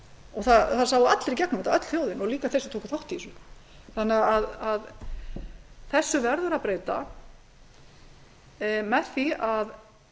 og það sáu allir í gegnum þetta öll þjóðin og líka þeir sem tóku þátt í þessu þessu verður því að breyta með því að